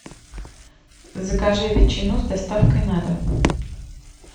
закажи ветчину с доставкой на дом